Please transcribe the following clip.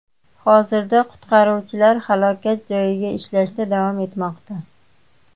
Hozirda qutqaruvchilar halokat joyida ishlashda davom etmoqda.